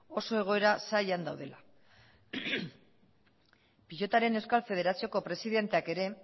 oso egoera zailean daudela pilotaren euskal federazioko presidenteak ere